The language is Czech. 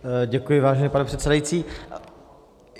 Děkuji, vážený pane předsedající.